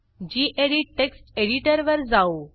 गेडीत text एडिटरवर जाऊ